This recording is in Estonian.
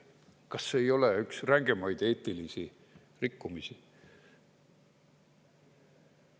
Kas see ei ole üks rängemaid eetilisi rikkumisi?